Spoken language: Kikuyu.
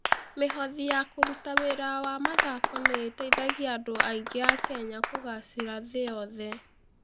Mĩhothi ya kũruta wĩra wa mathako nĩ ĩteithagia andũ aingĩ a Kenya kũgaacĩra thĩ yothe.